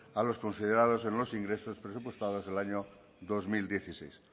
a los considerados en los ingresos presupuestados el año dos mil dieciséis